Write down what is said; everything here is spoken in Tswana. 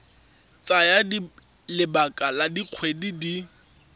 tsaya lebaka la dikgwedi di